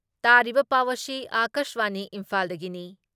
ꯇꯥꯕꯤꯔꯤꯕ ꯄꯥꯎ ꯑꯁꯤ ꯑꯀꯥꯁꯕꯥꯅꯤ ꯏꯝꯐꯥꯜꯗꯒꯤꯅꯤ ꯫